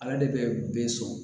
Ala de bɛ be so